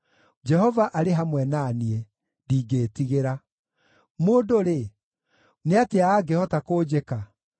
Jehova arĩ hamwe na niĩ; ndingĩĩtigĩra. Mũndũ-rĩ, nĩ atĩa angĩhota kũnjĩka?